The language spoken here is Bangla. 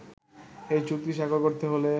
এই চুক্তি স্বাক্ষর করতে হলে